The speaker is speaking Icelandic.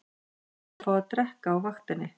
Vilja fá að drekka á vaktinni